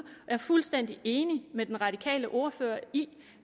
er fuldstændig enig med den radikale ordfører i